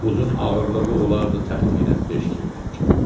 Buzun ağırlığı olardı təxminən beş qırvanca.